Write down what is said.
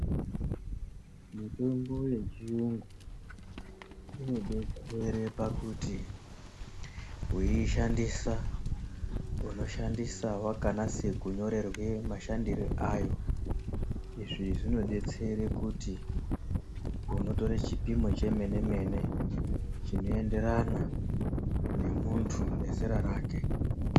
Mitombo yechiyungu inobetsere pakuti weiishandisa unoshandisa wakanase kunyorerwe mashandire ayo. Izvi zvinodetsere kuti unotore chipimo chemene mene chinoenderana nemuntu nezera rake.